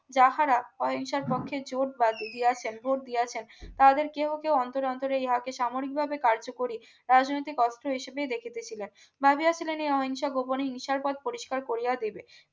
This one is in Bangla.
যাহারা অহিংসার পক্ষে জোট বাঁধি দিয়াছেন বোধ দিয়েছেন তাহাদের কেউ কেউ অন্তর অন্তরে ইহাকে সামরিকভাবে কার্যকরি রাজনৈতিক অর্থ হিসাবেই দেখিতে ছিলেন ভাবিয়া ছিলেন এই অহিংসা গোপনী মিশার পদ পরিষ্কার করিয়া দেবে